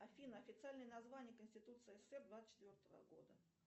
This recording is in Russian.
афина официальное название конституции ссср двадцать четвертого года